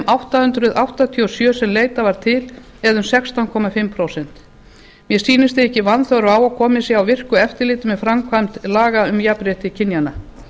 átta hundruð áttatíu og sjö sem leitað var til eða um sextán og hálft prósent mér sýnist því ekki vanþörf á að komið sé á virku eftirliti með framkvæmd laga um jafnrétti kynjanna